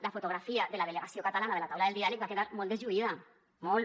la fotografia de la delegació catalana de la taula del diàleg va quedar molt deslluïda molt